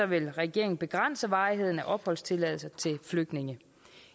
vil regeringen begrænse varigheden af opholdstilladelse til flygtninge